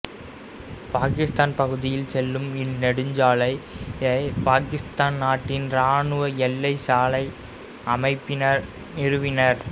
பாகிஸ்தான் பகுதியில் செல்லும் இந்நெடுஞ்சாலையை பாகிஸ்தான் நாட்டின் இராணுவ எல்லைச்சாலை அமைப்பினர் நிறுவினர்